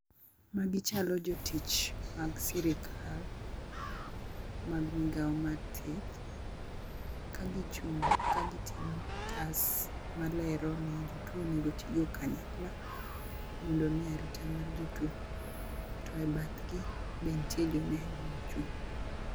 Magi chalo jotich mag sirikal mag migawo mar thieth ka gichung' ka giting'o otas malero ni jotuo onego otigo kanyakla mondo ne arita mag jotuo to e bathgi be ntie joneno mochung'.